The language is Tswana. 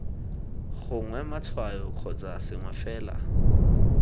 gongwe matshwao kgotsa sengwe fela